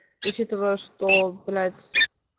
учитывая что блять